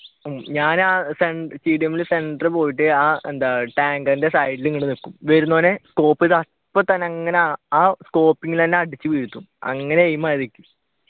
ഞാൻ tdm ഇൽ center പോയിട്ട് ആഹ് എന്താ tanker ഇൽ side ഇങ്ങനെ നിക്കും വരുന്നവരെ scope ചെയ്തു അപ്പൊത്തന്നെ അങ്ങനെ തന്നെ അടിച്ചു വീഴ്ത്തും അങ്ങനെയാ aim ആയതു